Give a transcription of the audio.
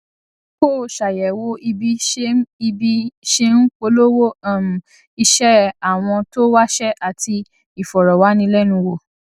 kó o ṣàyèwò ibi ṣe ń ibi ṣe ń polówó um iṣé àwọn tó wáṣé àti ìfòròwánilénuwò